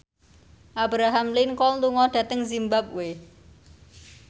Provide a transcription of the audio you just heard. Abraham Lincoln lunga dhateng zimbabwe